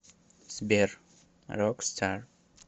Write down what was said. сбер рокстар